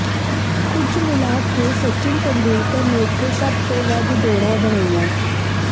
ਕੁਲ ਮਿਲਾ ਕੇ ਸਚਿਨ ਤੇਂਦੁਲਕਰ ਨੇ ਇੱਥੇ ਸਭ ਤੋਂ ਵੱਧ ਦੌੜਾਂ ਬਣਾਈਆਂ